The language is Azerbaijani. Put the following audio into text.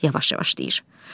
Yavaş-yavaş deyir.